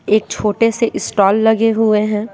एक छोटे से इस्टोल लगे हुए हैं।